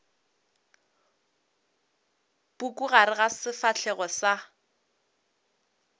puku gare ga sefahlego sa